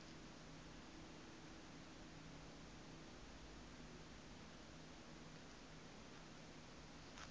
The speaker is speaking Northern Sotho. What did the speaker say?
di fela di re ge